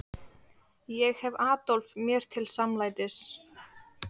Ég hef Adolf mér til samlætis.